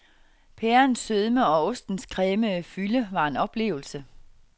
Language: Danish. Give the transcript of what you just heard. Pærens sødme og ostens cremede fylde var en oplevelse.